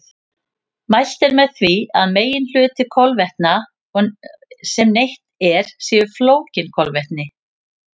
Mælt er með því að meginhluti kolvetna sem neytt er séu flókin kolvetni.